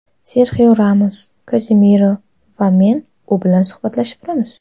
Serxio Ramos, Kazemiro va men u bilan suhbatlashib turamiz.